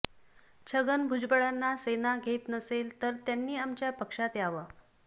छगन भुजबळांना सेना घेत नसेल तर त्यांनी आमच्या पक्षात यावं